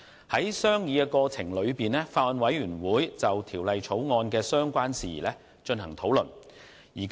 在商議過程中，法案委員會就《條例草案》的相關事宜進行討論。